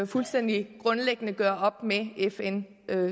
fuldstændig grundlæggende ville gøre op med fn